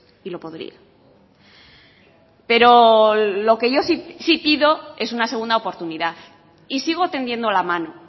y lo podría pero lo que yo sí pido es una segunda oportunidad y sigo tendiendo la mano